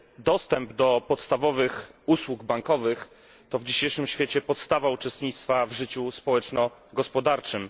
Dostęp do podstawowych usług bankowych to w dzisiejszym świecie podstawa uczestnictwa w życiu społeczno gospodarczym.